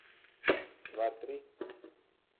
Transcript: Dva, tri.